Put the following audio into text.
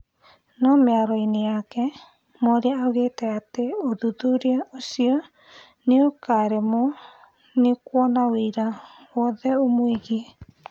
No mĩario-inĩ yake, Mworia augĩte atĩ ũthuthuria ũcio nĩukaremwo nĩ kũona wĩira owothe ũmũĩgie